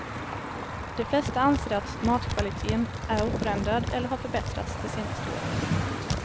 De flesta anser att matkvaliteten är oförändrad eller har förbättrats de senaste åren.